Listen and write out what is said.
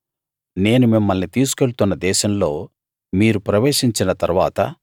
నేను మిమ్మల్ని తీసుకెళ్తున్న దేశంలో మీరు ప్రవేశించిన తరువాత